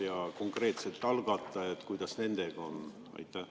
Ja konkreetselt algatajad, kuidas nendega on?